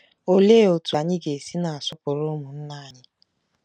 Olee otú anyị ga-esi na-asọpụrụ ụmụnna anyị?